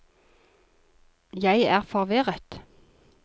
jeg er forvirret